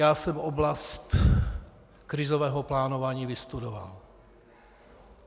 Já jsem oblast krizového plánování vystudoval.